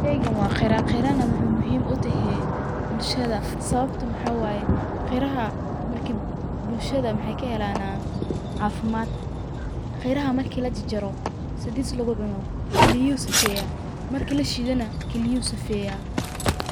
Sheygan waa qira, qirana maxey muhiim u tahee bulshada sawabta maxa waye ,qiraha bulshada maxey ka helanaa cafimaad. Qiraha marki la jarjaro sidiid lagu cuno ,kiliyuhu sifeyaa marki la shiido na kiliyuhu sifeyaa.